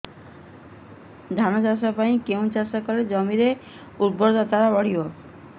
ଧାନ ଚାଷ ପରେ କେଉଁ ଚାଷ କଲେ ଜମିର ଉର୍ବରତା ବଢିବ